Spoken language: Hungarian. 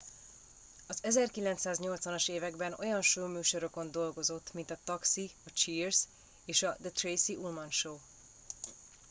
az 1980 as években olyan showműsorokon dolgozott mint a taxi a cheers és a the tracy ullman show